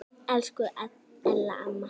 Elsku Ella amma.